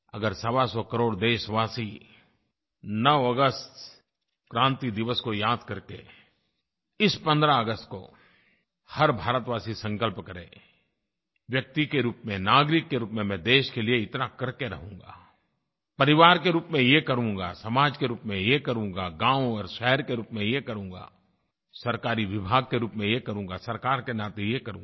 अगर सवासौ करोड़ देशवासी 9 अगस्त क्रांति दिवस को याद करके इस 15 अगस्त को हर भारतवासी संकल्प करे व्यक्ति के रूप में नागरिक के रूप में मैं देश के लिए इतना करके रहूँगा परिवार के रूप में ये करूँगा समाज के रूप में ये करूँगा गाँव और शहर के रूप में ये करूँगा सरकारी विभाग के रूप में ये करूँगा सरकार के नाते ये करूँगा